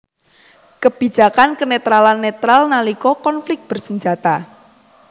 Kebijakan kenetralan netral nalika konflik bersenjata